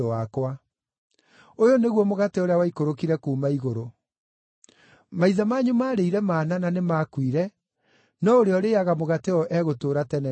Ũyũ nĩguo mũgate ũrĩa waikũrũkire kuuma igũrũ. Maithe manyu maarĩire mana na nĩmakuire, no ũrĩa ũrĩĩaga mũgate ũyũ egũtũũra tene na tene.”